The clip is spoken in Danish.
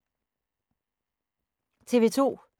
TV 2